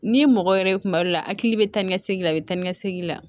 N'i mɔgɔ yɛrɛ ye kuma dɔ la a hakili bɛ taa ni ka segin la a bɛ taa ni ka segin la